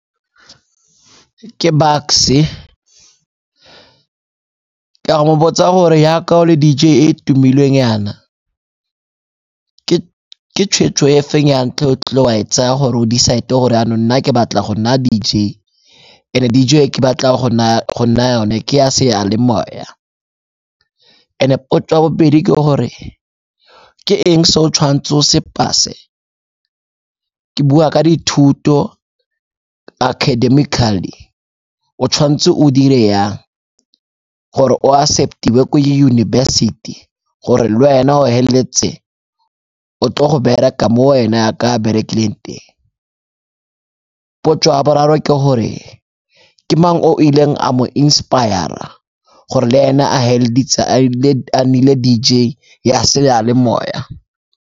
Ke Bucks-e, ke a go mo botsa gore yaka o le D_J e e tumileng yana, ke tshweetso e feng ya ntlha e o kile wa e tsaya go decide gore yanong nna ke batla go nna D_J, and-e D_J e ke batla go nna yone ke ya seyalemoya. And-e potso ya bobedi ke gore, ke eng se o tshwanetseng o se pass-e, ke bua ka dithuto academically, o tshwanetse o dire yang gore o acceptiwe ko yunibesithi gore le wena o heleletse o tle go bereka mo wena yaka a berekilang teng. Potso ya boraro ke gore, ke mang o ileng a mo inspire-ra gore le ena a heleleditse a nnile D_J ya seyalemoya.